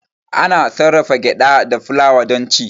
Ana sarrafa gyada da fulawa don ci.